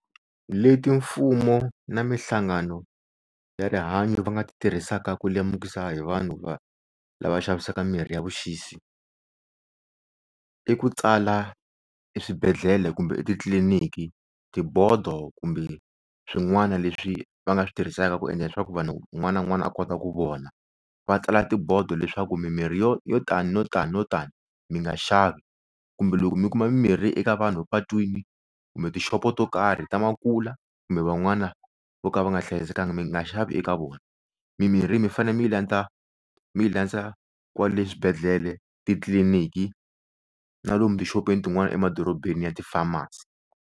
Leti mfumo na minhlangano ya rihanyo va nga ti tirhisaka ku lemukisa hi vanhu va lava xavisaka mirhi ya vuxisi, i ku tsala eswibedhlele kumbe etitliliniki tibodo kumbe swin'wana leswi va nga swi tirhisaka ku endla leswaku vanhu unwana na unwana a kota ku vona. Va tsala tibodo leswaku mimirhi yo tani no tano tani mi nga xavi kumbe loko mi kuma mirhi eka vanhu patwini kumbe tixopo to karhi ta Makula kumbe van'wana vo ka va nga hlayisekanga mi nga xavi eka vona. Mi mirhi mi fanele mi yi landza mi yi landza kwale swibedhlele titliliniki na lomu tixopeni tin'wana emadorobeni ya ti farmers.